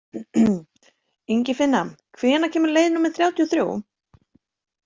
Ingifinna, hvenær kemur leið númer þrjátíu og þrjú?